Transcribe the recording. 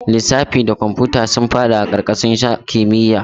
Lissafi da kwamfuta sun fada karkashin sashen kimiyya.